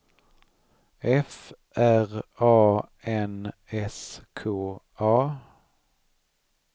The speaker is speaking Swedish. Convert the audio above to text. F R A N S K A